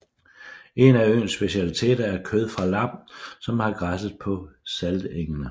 En af øens specialiteter er kød fra lam som har græsset på saltengene